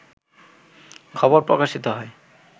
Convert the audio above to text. খবর প্রকাশিত হয়